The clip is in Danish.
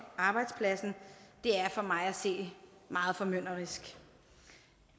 arbejdspladsen er for mig at se meget formynderisk